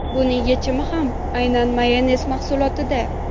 Buning yechimi ham aynan mayonez mahsulotida.